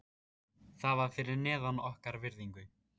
Það var fyrir neðan okkar virðingu.